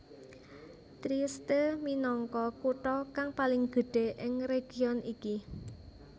Trieste minangka kutha kang paling gedhé ing region iki